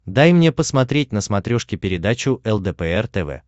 дай мне посмотреть на смотрешке передачу лдпр тв